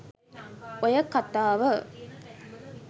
ඔය කතාව